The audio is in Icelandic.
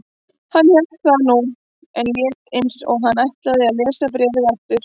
Hann hélt það nú, en lét eins og hann ætlaði að lesa bréfið áður.